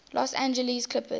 los angeles clippers